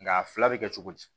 Nga a fila bɛ kɛ cogo di